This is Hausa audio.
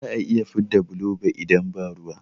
Ba za'a iya fidda bulo ba idan ba ruwa